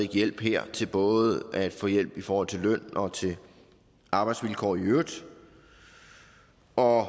hjælp her til både at få hjælp i forhold til løn og til arbejdsvilkår i øvrigt og